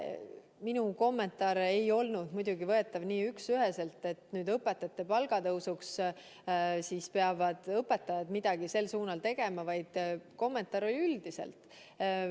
Minu kommentaar ei olnud muidugi võetav nii üksüheselt, et õpetajate palga tõstmiseks peavad õpetajad midagi sel suunal tegema, vaid kommentaar oli mõeldud üldiselt.